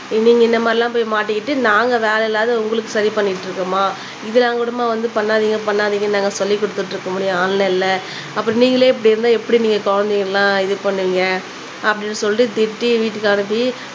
நீங்க இந்த மாதிரிலாம் போய் மாட்டிக்கிட்டு நாங்க வேலையில்லாம உங்களுக்கு சரி பண்ணிக்கிட்டு இருக்கனுமா இதெல்லாம்மா வந்து பண்ணாதிங்க பண்ணாதிங்கனு நாங்க சொல்லிக் குடுத்துட்டு இருக்க முடியும் ஆன்லைன்ல அப்புறம் நீங்களே இப்படி இருந்தா எப்பிடி நீங்க குழந்தைய எல்லாம் இது பண்ணுவிங்க அப்படினு சொல்லி திட்டி வீட்டுக்கு அனுப்பி